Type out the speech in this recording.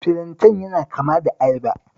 Filanten yana kama da ayaba